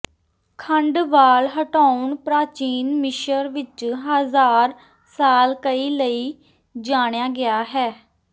ਖੰਡ ਵਾਲ ਹਟਾਉਣ ਪ੍ਰਾਚੀਨ ਮਿਸਰ ਵਿਚ ਹਜ਼ਾਰ ਸਾਲ ਕਈ ਲਈ ਜਾਣਿਆ ਗਿਆ ਹੈ